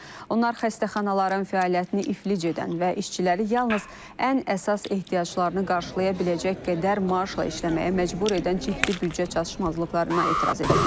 Onlar xəstəxanaların fəaliyyətini iflic edən və işçiləri yalnız ən əsas ehtiyaclarını qarşılaya biləcək qədər maaşla işləməyə məcbur edən ciddi büdcə çatışmazlıqlarına etiraz ediblər.